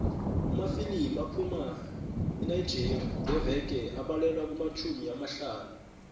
amafilimu aphuma enigeria ngeveke abalelwa kumatjhumi amahlanu